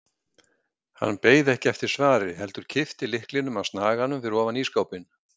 Hann beið ekki eftir svari heldur kippti lyklinum af snaganum fyrir ofan ísskápinn.